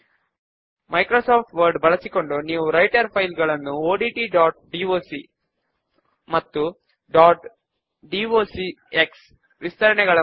ఇప్పుడు స్క్రీన్ మీద చూపిన విధముగా ఫామ్ యొక్క పొడవును తగ్గిద్దాము